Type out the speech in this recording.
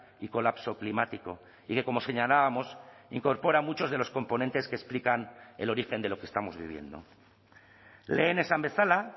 y colapso climático y que como señalábamos incorpora muchos de los componentes que explican el origen de lo que estamos viviendo lehen esan bezala